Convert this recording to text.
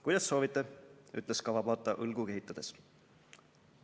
"Kuidas soovite," ütles Kawabata õlgu kehitades.